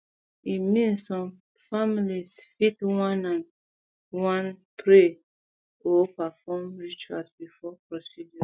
i mean some families fit wan ah wan ah pray or perform rituals before procedures